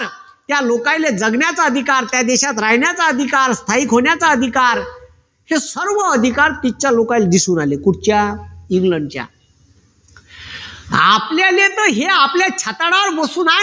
त्या लोकनले जगण्याचा अधिकार त्या देशात राहण्याचा अधिकार, स्थायिक होण्याचा अधिकार हे सर्व अधिकार तिथच्या लोकांना दिसून आले. कुठच्या? इंग्लंडच्या आपल्याले तर हे आपल्या छाताडावर बसून